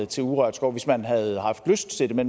til urørt skov hvis man havde haft lyst til det